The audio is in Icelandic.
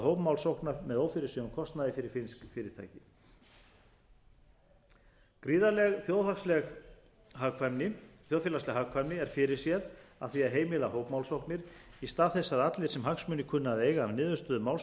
fjölda hópmálsókna með ófyrirséðum kostnaði fyrir finnsk fyrirtæki gríðarleg þjóðfélagsleg hagkvæmni er fyrirséð af því að heimila hópmálsóknir í stað þess að allir sem hagsmuni kunna að eiga af niðurstöðu máls